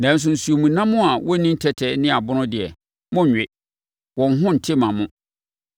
Nanso, nsuomnam a wɔnni tɛtɛ ne abon deɛ, monnwe. Wɔn ho nte mma mo.